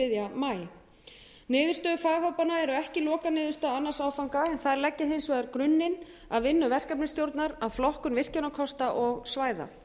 maí niðurstöður faghópanna eru ekki lokaniðurstaða annan áfanga en þær leggja hins vegar grunninn að vinnu verkefnisstjórnar að flokkun virkjunarkosta og svæða